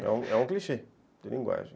É é um clichê, de linguagem.